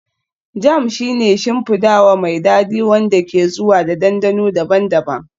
Jam shi ne shimfidawa mai dadi wanda ke zuwa da dandano daban-daban